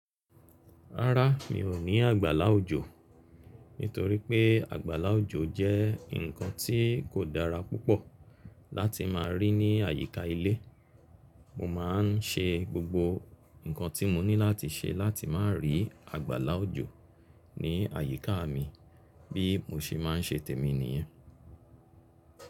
Rárá mi ò ní àgbàlá òjò, nítorí pé àgbàlá òjò jẹ́ nǹkan tí kò dára púpọ̀ láti máa rí ní àyíká ilé. Mo má a n ṣe gbogbo nǹkan tí mo ní láti ṣe láti má rí àgbàlá òjò ní àyíká mi bí mo ṣe máa n ṣe tèmi nìyẹn.